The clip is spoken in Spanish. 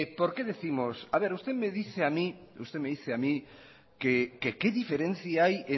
a ver usted me dice a mí que qué diferencia hay